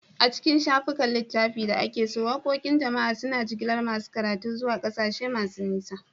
A cikin shafukan littafi da ake so, waqoqin jama'a suna jigilar masu karatu zuwa ƙasashe masu nisa.